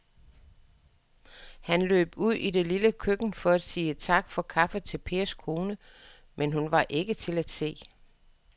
Han løb ud i det lille køkken for at sige tak for kaffe til Pers kone, men hun var ikke til at se.